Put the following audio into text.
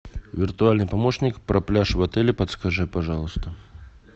виртуальный помощник про пляж в отеле подскажи пожалуйста